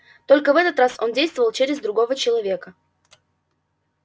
только в этот раз он действовал через другого человека